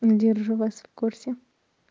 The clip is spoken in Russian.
держу вас в курсе